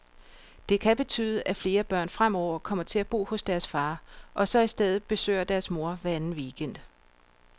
Det kan betyde, at flere børn fremover kommer til at bo hos deres far, og så i stedet besøger deres mor hver anden weekend.